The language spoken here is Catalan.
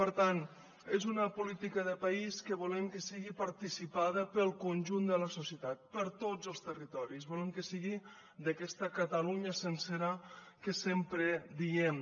per tant és una política de país que volem que sigui participada pel conjunt de la societat per tots els territoris volem que sigui d’aquesta catalunya sencera que sempre diem